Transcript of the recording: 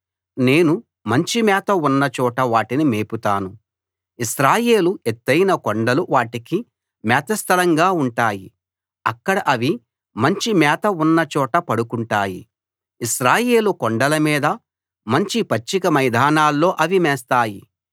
నేను మంచి మేత ఉన్న చోట వాటిని మేపుతాను ఇశ్రాయేలు ఎత్తయిన కొండలు వాటికి మేత స్థలంగా ఉంటాయి అక్కడ అవి మంచి మేత ఉన్న చోట పడుకుంటాయి ఇశ్రాయేలు కొండల మీద మంచి పచ్చిక మైదానాల్లో అవి మేస్తాయి